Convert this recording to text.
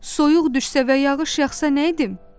Soyuq düşsə və yağış yağsa nə edim?